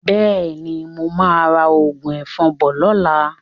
Bẹ́ẹ̀ni, mo máa ra òògùn ẹ̀fọn bọ̀ lọ́la.